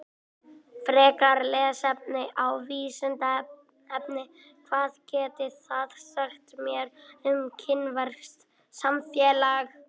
Frekara lesefni á Vísindavefnum: Hvað getið þið sagt mér um kínverskt samfélag?